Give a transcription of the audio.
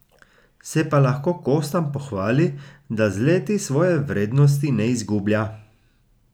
Se pa lahko kostanj pohvali, da z leti svoje vrednosti ne izgublja.